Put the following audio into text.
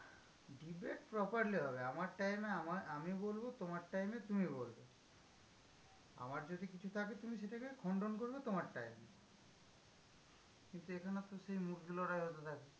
Debate properly হবে। আমার time এ আমার আমি বলবো, তোমার time এ তুমি বলবে। আমার যদি কিছু থাকে তুমি সেটাকে খণ্ডন করবে, তোমার time এ। কিন্তু এখানে তো সেই মুরগি লড়াই হতে থাকে।